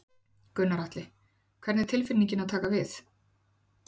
Gunnar Atli: Hvernig er tilfinningin að taka við?